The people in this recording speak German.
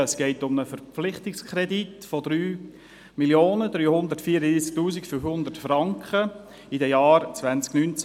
– es geht um einen Verpflichtungskredit von 3 334 500 Franken für die Jahre 2019–2026.